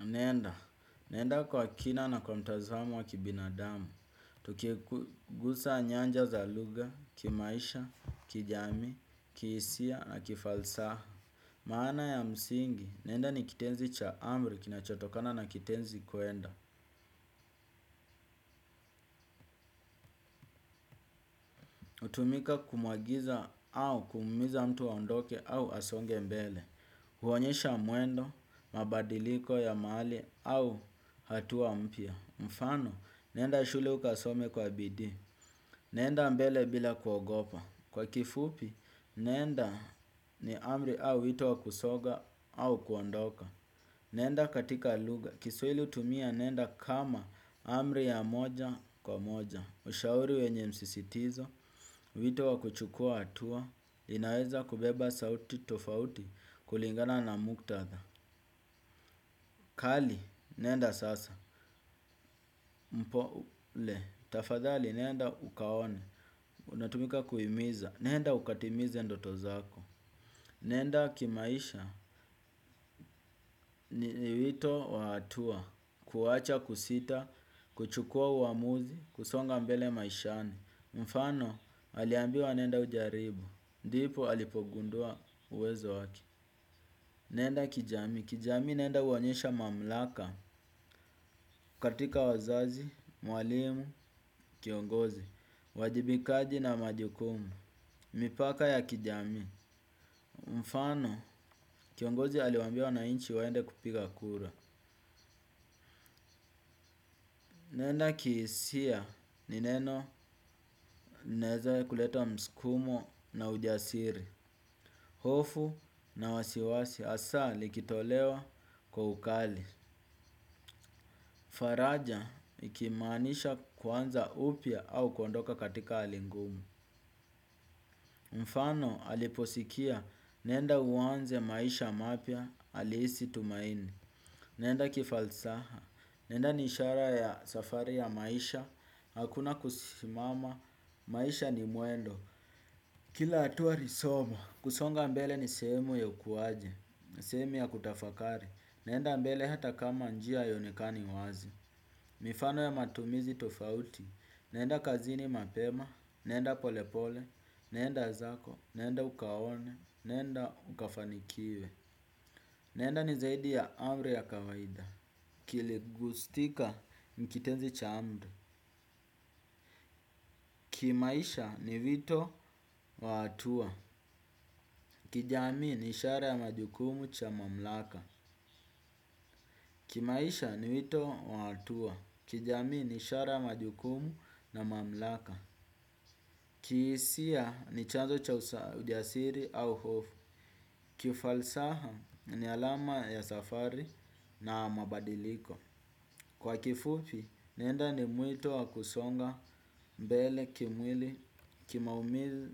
Naenda, naenda kwa kina na kwa mtazamo wa kibinadamu, tukigusa nyanja za lugha, kimaisha, kijamii, kihisia na kifalsaha. Maana ya msingi, nenda ni kitenzi cha amri kina chotokana na kitenzi kuenda. Hutumika kumwagiza au kumhimiza mtu aondoke au asonge mbele, huonyesha muendo, mabadiliko ya mahali au hatua mpya. Mfano, nenda shule ukasome kwa bidii. Nenda mbele bila kuogopa. Kwa kifupi, nenda ni amri au wito wa kusonga au kuondoka. Nenda katika lugha. Kiswahili hutumia nenda kama amri ya moja kwa moja. Ushauri wenye msisitizo, wito wa kuchukua hatua, inaweza kubeba sauti tofauti kulingana na muktatha. Kali, nenda sasa. Mpole. Tafadhali, nenda ukaone. Unatumika kuhimiza. Nenda ukatimize ndoto zako. Nenda kimaisha ni wito wa hatua. Kuwacha, kusita, kuchukua uamuzi, kusonga mbele maishani. Mfano, aliambiwa nenda ujaribu. Ndipo, alipogundua uwezo wake. Nenda kijamii, kijamii nenda huonyesha mamlaka, katika wazazi, mwalimu, kiongozi, uwajibikaji na majukumu, mipaka ya kijamii, mfano, kiongozi aliwaambia wanainchi waende kupiga kura. Nenda kihisia ni neno naeza kuleta msukumo na ujasiri. Hofu na wasiwasi hasa likitolewa kwa ukali. Faraja ikimaanisha kuanza upya au kondoka katika hali ngumu. Mfano aliposikia nenda uanze maisha mapya halisi tumaini. Nenda kifalsaha. Nenda ni ishara ya safari ya maisha, hakuna kusimama, maisha ni mwendo. Kila hatua ni somo. Kusonga mbele ni sehemu ya ukuaji, sehemu ya kutafakari. Nenda mbele hata kama njia haionekani wazi. Mifano ya matumizi tofauti. Nenda kazini mapema, nenda polepole, nenda zako, nenda ukaone, nenda ukafanikiwe. Nenda ni zaidi ya amri ya kawaida. Kile gustika ni kitenzi cha amri. Kimaisha ni wito wa hatua. Kijamii ni ishara ya majukumu cha mamlaka. Kimaisha ni vito wa atua. Kijami ni shara ya majukumu na mamlaka. Kihisia ni chanzo cha ujasiri au hofu. Kifalsaha ni alama ya safari na mabadiliko. Kwa kifupi nenda ni mwito wa kusonga mbele kimwili. Ki maumil